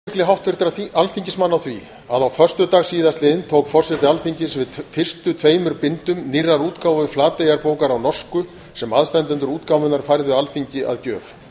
forseti vill vekja athygli háttvirtra alþingismanna á því að á föstudaginn tók forseti alþingis við fyrstu tveimur bindum nýrrar útgáfu flateyjarbókar á norsku sem aðstandendur útgáfunnar færðu alþingi að gjöf